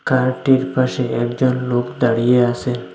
কারটির পাশে একজন লোক দাঁড়িয়ে আসে।